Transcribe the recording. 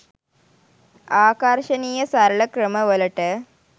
ආකර්ශනීය සරල ක්‍රම වලට